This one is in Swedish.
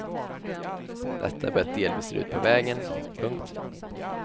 Detta är bara ett delbeslut på vägen. punkt